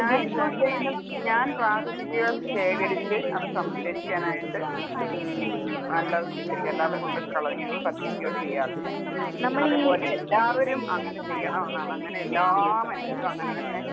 ഞാൻ ഇപ്പോൾ ചെയ്യുന്നത് ഞാൻ പ്ലാസ്റ്റിക്കുകൾ ശേഖരിച്ച് അത് സംസ്കരിക്കാനായിട്ട് ഉം അല്ലാതെ സംസ്കരിക്കും അല്ലാതെ കൊണ്ടോയി കളയോ, കത്തിക്കുകയോ ചെയ്യാറില്ല. അതുപോലെ എല്ലാവരും അങ്ങനെ ചെയ്യണമെന്നാണ് അങ്ങനെ എല്ലാ മനുഷ്യരും അങ്ങനെ തന്നെ